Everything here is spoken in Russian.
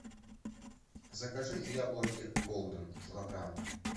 закажи яблоки голден килограмм